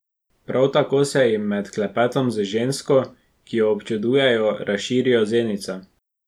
Prav tako se jim med klepetom z žensko, ki jo občudujejo, razširijo zenice.